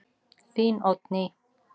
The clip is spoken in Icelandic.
Þín Oddný.